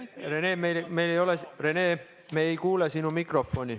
Rene, me ei kuule sind.